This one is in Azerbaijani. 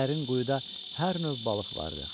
Dərin quyuda hər növ balıq vardır.